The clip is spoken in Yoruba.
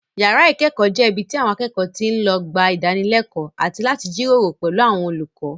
Yàrá ìkẹ́kọ̀ọ́ jẹ́ ibi tí àwọn akẹ́kọ̀ọ́ ti lọ ń gba ìdánilẹ́kọ̀ọ́ àti láti jíròrò pẹ̀lú àwọn olùkọ́